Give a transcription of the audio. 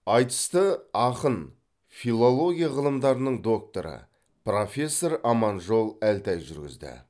айтысты ақын филология ғылымдарының докторы профессор аманжол әлтай жүргізді